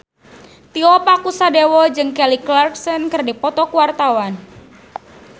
Tio Pakusadewo jeung Kelly Clarkson keur dipoto ku wartawan